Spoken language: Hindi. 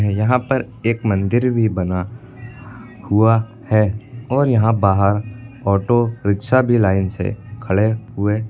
यहां पर एक मंदिर भी बना हुआ है और यहां बाहर ऑटो रिक्शा भी लाइन से खड़े हुए--